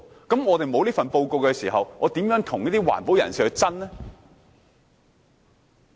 當我們沒有這份報告時，又如何跟環保人士爭辯呢？